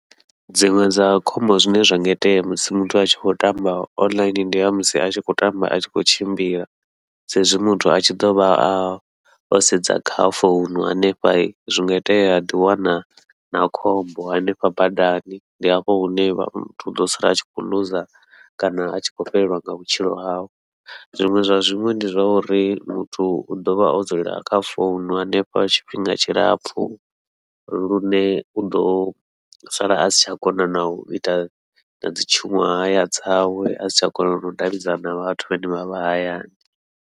Dziṅwe dza khombo zwine zwa nga itea musi muthu a tshi khou tamba online ndi ya musi a tshi khou tamba a tshi khou tshimbila, sa izwi muthu a tshi ḓovha a o sedza kha founu hanefha zwi nga itea a ḓiwana na khombo hanefha badani, ndi hafho hune vha ḓo sala a tshi khou ḽuza kana a tshi khou fhelelwa nga vhutshilo hawe. Zwiṅwe zwa zwiṅwe ndi zwa uri muthu u ḓovha o dzula kha founu hanefha tshifhinga tshilapfhu, lune uḓo sala asi tsha kona nau ita nadzi tshuṅwahaya dzawe asi tsha kona nau davhidzana na vhathu vhane vha vha hayani.